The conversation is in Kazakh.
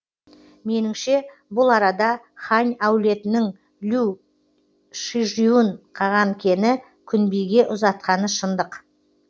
меніңше бұл арада хань әулетінің лю шижюн қағанкені күнбиге ұзатқаны шындық